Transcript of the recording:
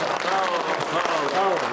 Sağ olun, sağ olun, sağ olun.